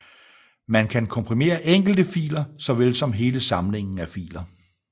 Man kan komprimere enkelte filer såvel som hele samlinger af filer